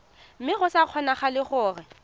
mme go sa kgonagale gore